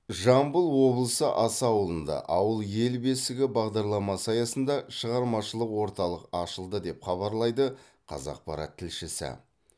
жамбыл облысы аса ауылында ауыл ел бесігі бағдаралмасы аясында шығармашылық орталық ашылды деп хабарлайды қазақпарат тілшісі